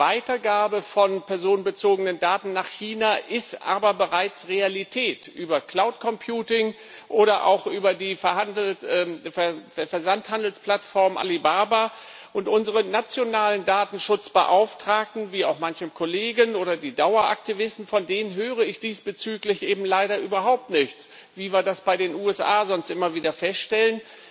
Die Weitergabe von personenbezogenen Daten nach China ist aber bereits Realität, nämlich über Cloud Computing oder auch über die Versandhandelsplattform Alibaba, und von unseren nationalen Datenschutzbeauftragten wie auch von manchem Kollegen oder den Daueraktivisten höre ich diesbezüglich leider überhaupt nichts, wie wir das bei den USA sonst immer wieder feststellen.